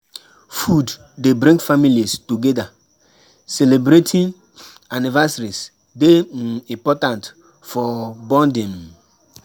Food dey bring families together; celebratin’ anniversaries dey um important for bonding. um